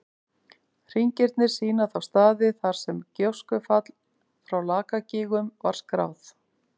Hringirnir sýna þá staði þar sem gjóskufall frá Lakagígum var skráð.